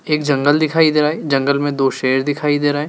एक जंगल दिखाई दे रहा है जंगल में दो शेर दिखाई दे रहे हैं।